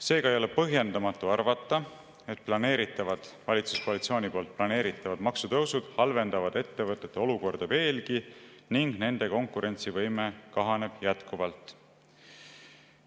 Seega ei ole põhjendamatu arvata, et valitsuskoalitsiooni planeeritavad maksutõusud halvendavad ettevõtete olukorda veelgi ning nende konkurentsivõime kahaneb jätkuvalt.